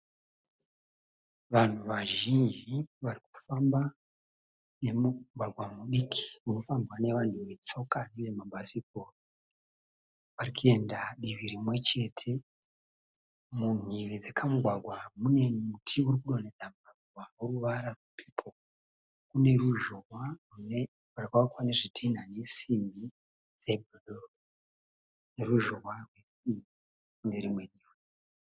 Vanhu vazhinji vari kufamba nemugwagwa mudiki unofambwa nevanhu vetsoka uye mabhasikoro. Vari kuenda divi rimwe chete. Mumhiri dzekamugwagwa mune miti iri kudonhedza maruva oruvara rwepepo. Kune ruzhowa hwakavakwa nezvitinha nesimbi dze "blue". Ruzhowa urwu ruri kune rimwe divi.